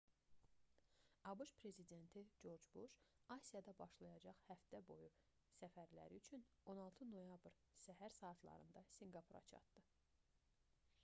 abş prezidenti corc buş asiyada başlayacaq həftə-boyu səfərləri üçün 16 noyabr səhər saatlarında sinqapura çatdı